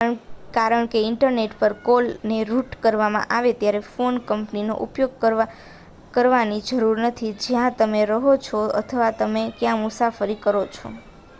કારણ કે ઇન્ટરનેટ પર કોલ ને રૂટ કરવામાં આવે, તમારે ફોન કંપનીનો ઉપયોગ કરવાની જરૂર નથી જ્યાં તમે રહો છો અથવા તમે ક્યાં મુસાફરી કરો છો